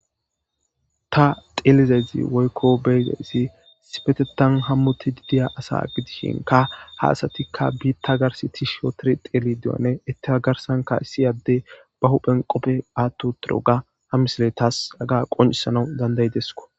Ta xeelizayzi woykko beyzayssi sipetetan hammoti didiya asa gidishinka ha asatikka biitta garsi tisho tiri xeeli diyone ittika garsanka issiyadde ba huphen qoppe aatto tiroga ha misile tas aga qoncisanau dandayidesko